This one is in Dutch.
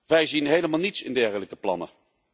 Wij zien helemaal niets in dergelijke plannen.